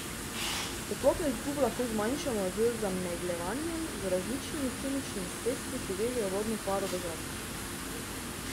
Toplotno izgubo lahko zmanjšamo z zamegljevanjem z različnimi kemičnimi sredstvi, ki vežejo vodno paro v zraku.